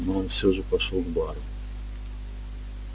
но он все же пошёл к бару